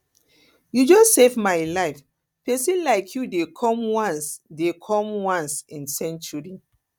you just save my life pesin like you dey come once dey come once in century